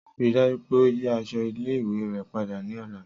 Rii daju pe o yi aṣọ ile-iwe rẹ pada ni ọla.